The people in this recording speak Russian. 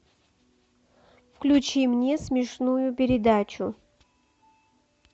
включи мне смешную передачу